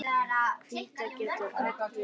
Hvítá getur átt við